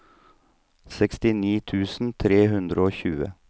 sekstini tusen tre hundre og tjue